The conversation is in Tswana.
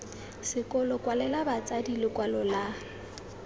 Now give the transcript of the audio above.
sekolo kwalela batsadi lekwalo la